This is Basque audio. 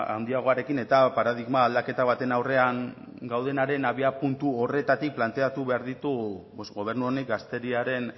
handiagoarekin eta paradigma aldaketa baten aurrean gaudenaren abiapuntu horretatik planteatu behar ditu gobernu honek gazteriaren